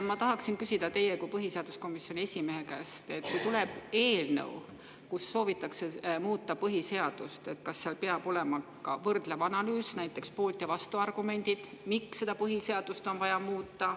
Ma tahan küsida teie kui põhiseaduskomisjoni esimehe käest, et kui tuleb eelnõu, millega soovitakse muuta põhiseadust, kas seal peab olema ka võrdlev analüüs, näiteks poolt‑ ja vastuargumendid, miks põhiseadust on vaja muuta.